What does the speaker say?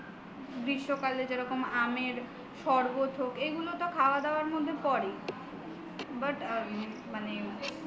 গ্রীষ্মকালে যেমন আমের শরবত হোক এগুলোতো খাবার দাবারের মধ্যে পড়ে but মানে